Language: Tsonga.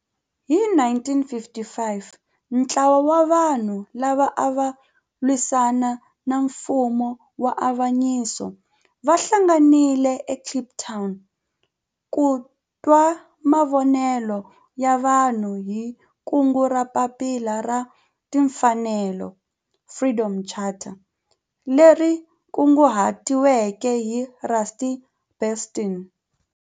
Hi 1955 ntlawa wa vanhu lava ava lwisana na nfumo wa avanyiso va hlanganile eKliptown ku twa mavonelo ya vanhu hi kungu ra Papila ra Tinfanelo, Freedom Charter leri kunguhatiweke hi Rusty Bernstein.